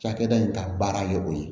Cakɛda in ka baara ye o ye